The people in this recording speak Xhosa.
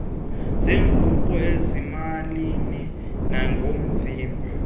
zeenguqu ezimalini nakoovimba